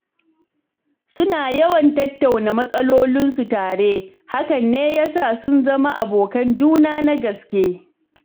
Suna yawan tattauna matsalolinsu tare, hakan ne ya sa sun zama abokan juna na gaske.